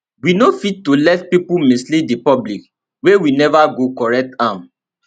we no fit to let pipo mislead di public wia we neva go correct am